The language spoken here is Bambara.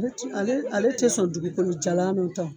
Ale t' ale ale tɛ sɔn dugukolo jalan ta.